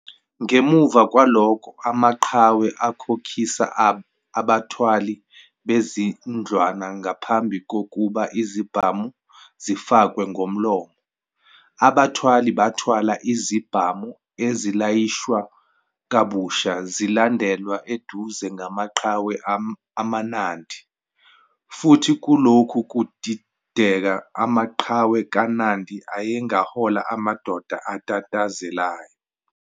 Ngemuva kwalokho amaqhawe akhokhisa abathwali bezindlwana ngaphambi kokuba izibhamu zifakwe ngomlomo. Abathwali bathwala izibhamu ezilayishwa kabusha zilandelwa eduze ngamaqhawe amaNandi futhi kulokhu kudideka, amaqhawe kaNandi ayengahola amadoda atatazelayo.